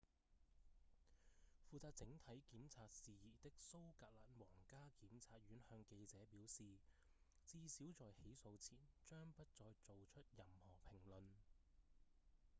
負責整體檢察事宜的蘇格蘭皇家檢察院向記者表示至少在起訴前將不再做出任何評論